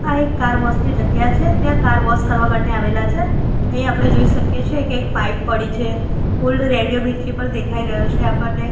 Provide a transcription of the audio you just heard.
આ એક car wash ની જગ્યા છે ત્યાં કાર વોશ કરવા માટે આવેલા છે અહિયા આપડે જોઈ શકીએ છે કે એક પાઇપ પડી છે ઓલ્ડ રેડિયો મિર્ચી પણ દેખાય રહ્યો છે આપણને.